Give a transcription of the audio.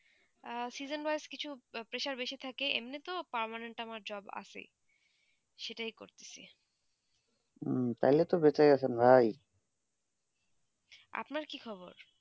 season wise একটু pressure তা বেশি থাকে এমনি তো permanent আমার job আছে সেটা তো করতেছি তালে তো বেঁচে ই আছেন ভাই আপনার কি খবর